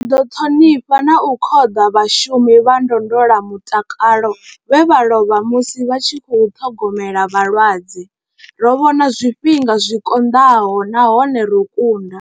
Ri ṱhonifha na u khoḓa vhashu mi vha ndondolamutakalo vhe vha lovha musi vha tshi khou ṱhogomela vhalwadze. Ro vhona zwifhinga zwi konḓaho nahone ro kunda.